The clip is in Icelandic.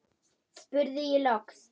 spurði ég loks.